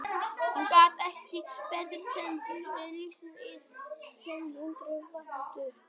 Hann gat ekki betur séð en svipurinn lýsti í senn undrun og vantrú.